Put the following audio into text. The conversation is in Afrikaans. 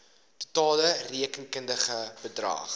totale rekenkundige bedrag